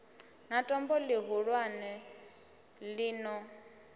na tombo ḽihulwane ḽi no